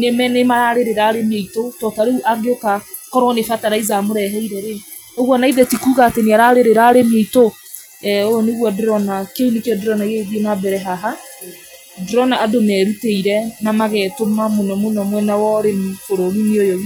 nĩme nĩmararĩrĩra arĩmi aitũ, to tarĩu angĩũka, korwo nĩ ferterlizer amũreheire rĩ, ũguo naithe ti kuga atĩ nĩararĩrĩra arĩmi aitũ, eeh ũguo nĩguo ndĩrona kĩu nĩkĩo ndĩrona kĩrathiĩ nambere haha, ndĩrona andũ merutĩire namagetũma mũno mũno mwena wa ũrĩmi bũrũriinĩ ũyũ.